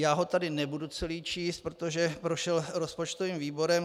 Já ho tady nebudu celý číst, protože prošel rozpočtovým výborem.